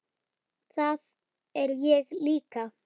Það er ég líka.